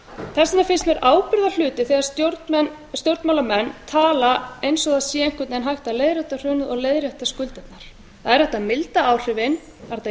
þess vegna finnst mér ábyrgðarhluti þegar stjórnmálamenn tala eins og það sé einhvern veginn hægt að leiðrétta hrunið og leiðrétta skuldirnar það er hægt að milda áhrifin það er hægt